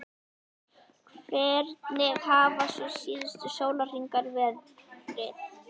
Hvernig hafa svo síðustu sólarhringar verið?